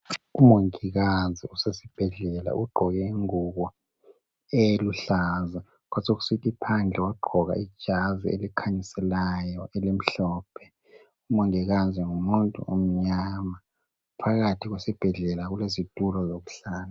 Umongikazi usesibhedlela ugqoke ingubo eluhlaza kwasokusithi phandle wagqoka ijazi elikhanyiselayo elimhlophe . Umongikazi ngumuntu omnyama phakathi esibhedlela kulezitulo ezokuhlala.